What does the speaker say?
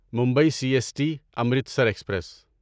Mumbai C S T Amritsar express